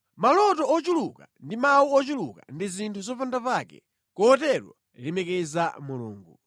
Maloto ochuluka ndi mawu ochuluka ndi zinthu zopandapake. Kotero lemekeza Mulungu.